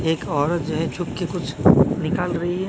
एक औरत जो है छुपके कुछ निकाल रही है।